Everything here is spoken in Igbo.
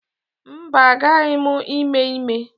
Mba, agbaghị m ime ime.